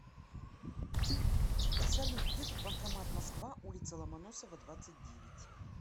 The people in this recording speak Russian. салют где тут банкомат москва улица ломоносова двадцать девять